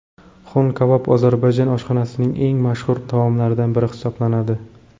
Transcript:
Xon-kabob ozarbayjon oshxonasining eng mashhur taomlaridan biri hisoblanadi.